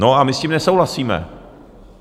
No a my s tím nesouhlasíme.